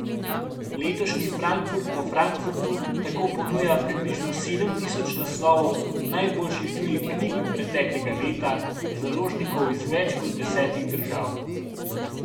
Letošnji Frankfurt po Frankfurtu tako ponuja približno sedem tisoč naslovov najboljših tujih knjig preteklega leta, založnikov iz več kot desetih držav.